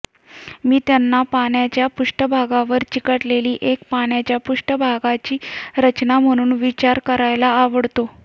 मी त्यांना पाण्याच्या पृष्ठभागावर चिकटलेली एक पाण्याच्या पृष्ठभागाची रचना म्हणून विचार करायला आवडतो